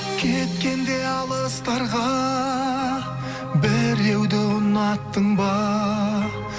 кеткенде алыстарға біреуді ұнаттың ба